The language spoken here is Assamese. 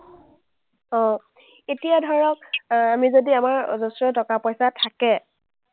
অ, এতিয়া ধৰক, আমি যদি আমাৰ অজশ্ৰ টকা-পইচা থাকে,